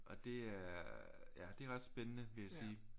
Og det er ja det er også spændende vil jeg sige